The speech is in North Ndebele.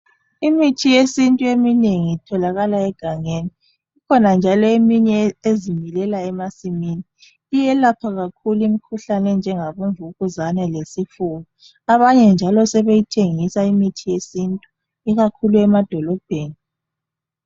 Imithi yesintu eminengi itholakala egangelni ikhona njalo ezimilela emasimini, iyelapha kakhulu imikhuhlane enjengabomvukuzane lesifuba abanye njalo sebeyithengisa imithi yesintu ikakhulu emadolobheni.